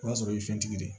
O y'a sɔrɔ i ye fɛntigi de ye